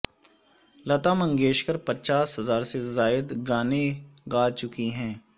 لتا منگیشکر پچاس ہزار سے زائد گانے گا چکی ہیں